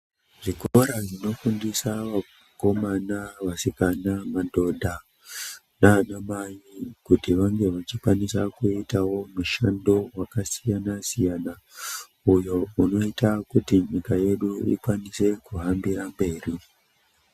Zvikora zvino fundisa vakomana vasikana madhodha nana mai kuti vange vachi kwanisa kuitawo mushando waka siyana siyana uyo unoita kuti nyika yedu ikwanise ku hambira mberi.